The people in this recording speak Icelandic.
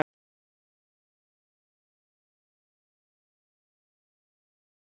Og líka gaman.